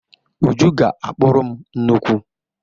Uju ga-akpụrụ m nnukwu.